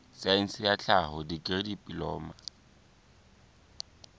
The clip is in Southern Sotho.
saense ya tlhaho dikri diploma